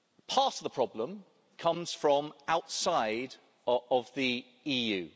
Part of the problem comes from outside of the EU.